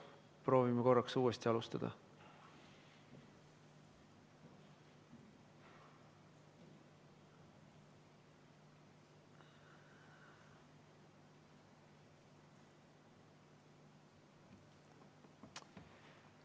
Proovime korraks uuesti alustada.